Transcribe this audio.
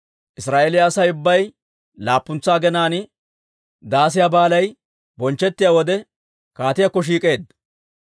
Israa'eeliyaa Asay ubbay laappuntsa aginaan, Daasiyaa Baalay bonchchettiyaa wode, kaatiyaakko shiik'eedda.